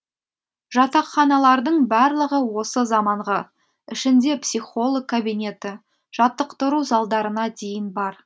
жатақханалардың барлығы осы заманғы ішінде психолог кабинеті жаттықтыру залдарына дейін бар